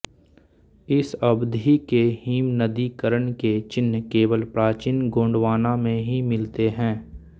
इस अवधि के हिमनदीकरण के चिह्न केवल प्राचीन गोंडवाना में ही मिलते हैं